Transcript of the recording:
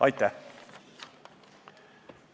Aitäh!